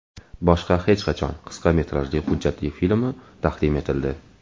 Boshqa hech qachon” qisqa metrajli hujjatli filmi taqdim etildi .